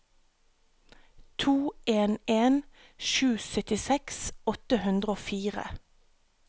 to en en sju syttiseks åtte hundre og fire